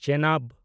Chenab